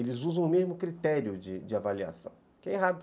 Eles usam o mesmo critério de de avaliação, que é errado.